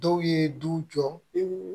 Dɔw ye du jɔ